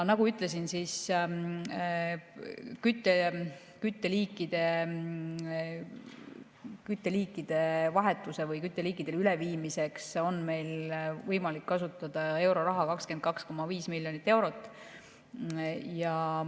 Nagu ma ütlesin, kütteliikide vahetuseks või kütteliikidele üleviimiseks on meil võimalik kasutada euroraha 22,5 miljonit eurot.